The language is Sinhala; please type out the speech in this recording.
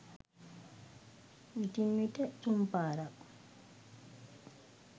විටින් විට තුන් පාරක්